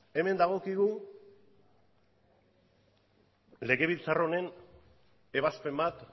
hemen dagokigu legebiltzar honen ebazpen bat